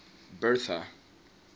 bertha